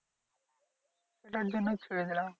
যার জন্য ছেড়ে দিলাম।